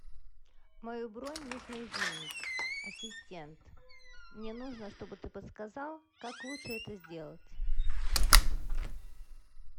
мою бронь нужно изменить ассистент мне нужно чтобы ты подсказал как лучше это сделать